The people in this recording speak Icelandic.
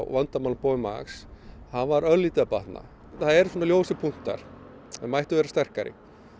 vandamáli Boeing Max hann var örlítið að batna það eru svona ljósir punktar þeir mættu vera sterkari